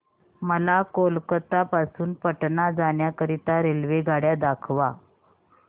मला कोलकता पासून पटणा जाण्या करीता रेल्वेगाड्या दाखवा